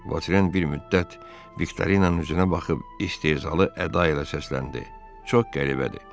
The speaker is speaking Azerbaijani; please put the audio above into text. Votren bir müddət Viktorinanın üzünə baxıb istehzalı əda ilə səsləndi: Çox qəribədir.